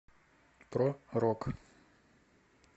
про рок